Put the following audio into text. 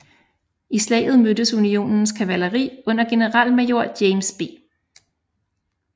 I slaget mødtes Unionens kavaleri under generalmajor James B